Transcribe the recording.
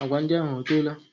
Agwa ndị ahụ ọtoola?